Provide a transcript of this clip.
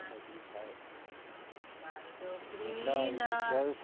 ખાઈ ને મજ્જા આવે